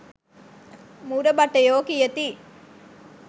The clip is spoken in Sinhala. මුර භටයෝ කියති